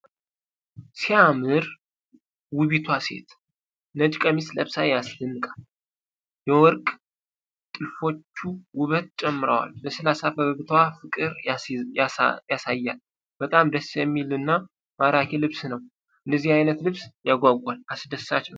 ሲያምር! ውቢቷ ሴት ነጭ ቀሚስ ለብሳ ያስደንቃል። የወርቅ ጥልፎቹ ውበት ጨምረዋል። ለስላሳ ፈገግታዋ ፍቅር ያሳያል። በጣም ደስ የሚል እና ማራኪ ልብስ ነው። እንደዚህ አይነት ልብስ ያጓጓል። አስደሳች ነው።